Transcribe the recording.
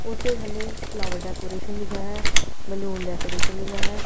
ਉਸੇ ਹਲੇ flower decoration ਲਿਖਿਆ ਹੈ ਬਲੂਨ ਡੈਕੋਰੇਸ਼ਨ ਲਿਖਿਆ ਹੈ।